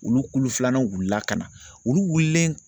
Olu kulu filanan wulila ka na olu wulilen